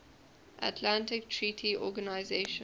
atlantic treaty organisation